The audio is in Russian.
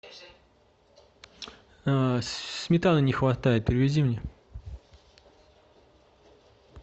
сметаны не хватает привези мне